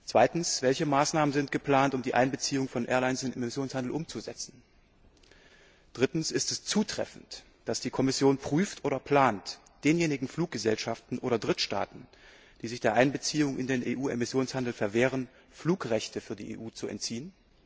Zweitens Welche Maßnahmen sind geplant, um die Einbeziehung von Airlines in den Emissionshandel umzusetzen? Drittens Ist es zutreffend, dass die Kommission prüft oder plant, denjenigen Fluggesellschaften oder Drittstaaten, die sich der Einbeziehung in den EU Emissionshandel verwehren, Flugrechte für die EU zu entziehen?